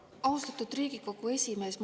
Austatud Riigikogu esimees!